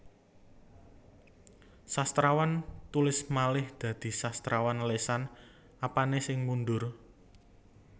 Sastrawan tulis malih dadi sastrawan lesan Apane sing mundur